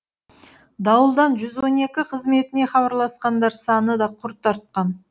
дауылдан жүз он екі қызметіне хабарласқандар саны да құрт артқан